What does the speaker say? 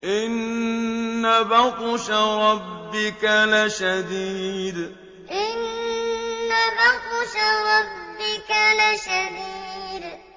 إِنَّ بَطْشَ رَبِّكَ لَشَدِيدٌ إِنَّ بَطْشَ رَبِّكَ لَشَدِيدٌ